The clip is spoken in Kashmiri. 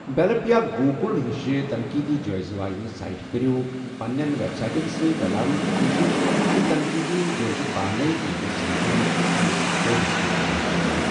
ییٚلپ یا گوٗگٕل ہِشہٕ تنٛقیٖدی جٲیزٕ واجنہِ سایٹہٕ کٔرِو پنٛنیٚن ویٚبسایٹَن سۭتۍ رَلاونٕچ کوٗشِش یُتھ تنقیٖدی جٲیزٕ پانَے تُہٕنٛدِس صندن ہِنٛدِس پٖیجَس پیٚٹھ ظٲہِر گَژھن۔